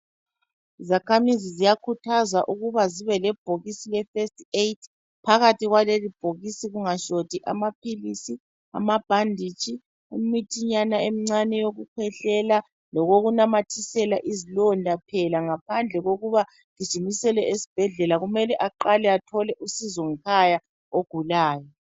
Izakhamizi ziyakhuthazwa ukuba zibe le bhokisi le festi eyidi, phakathi kwaleli bhokisi kungashoti amaphilisi, ambhanditshi, imithinyana emincane yokukhwehlela, lokokunamathisela izilonda phela ngaphandle kokuba agijinyiselwe esibhedlela kumele aqale athole usizo ngekhaya ogulayo.